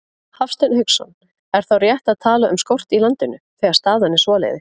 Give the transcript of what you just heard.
Hafsteinn Hauksson: Er þá rétt að tala um skort í landinu, þegar staðan er svoleiðis?